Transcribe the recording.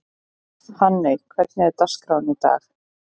Hanney, hvernig er dagskráin í dag?